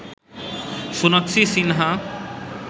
Sonakshi Sinha